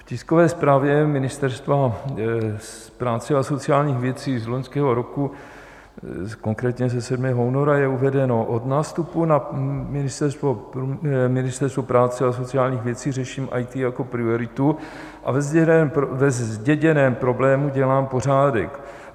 V tiskové zprávě Ministerstva práce a sociálních věcí z loňského roku, konkrétně ze 7. února, je uvedeno: "Od nástupu na Ministerstvo práce a sociálních věcí řeším IT jako prioritu a ve zděděném problému dělám pořádek.